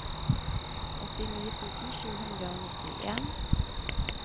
åttini tusen sju hundre og nittien